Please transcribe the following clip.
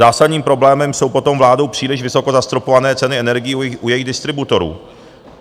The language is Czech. Zásadním problémem jsou potom vládou příliš vysoko zastropované ceny energií u jejich distributorů.